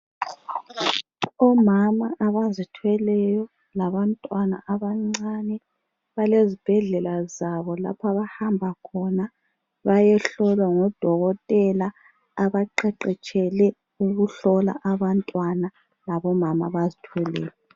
Omama abazithweleyo labantwana abancane balezibhedlela zabo lapho abahamba khona bayehlolwa ngodokotela abaqeqetshele ukuhlola abantwana labomama abazithweleyo.